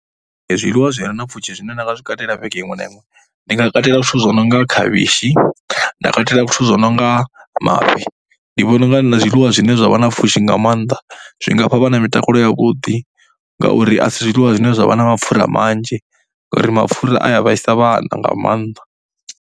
Zwiḽiwa zwi re na pfhushi zwine nda nga zwi katela vhege iṅwe na iṅwe, ndi nga katela zwithu zwo no nga khavhishi, nda katela zwithu zwi no nga mafhi. Ndi vhona u nga zwiḽiwa zwine zwa vha na pfhushi nga maanḓa, zwi nga fha vhana mitakalo yavhuḓi ngauri a si zwiḽiwa zwine zwa vha na mapfhura manzhi ngauri mapfhura a ya vhaisa vhana nga maanḓa.